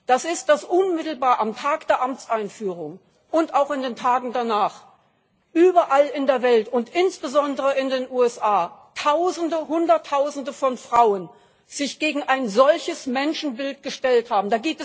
hat, das ist, dass unmittelbar am Tag der Amtseinführung und auch in den Tagen danach überall in der Welt und insbesondere in den USA Tausende, Hunderttausende von Frauen sich gegen ein solches Menschenbild gestellt haben.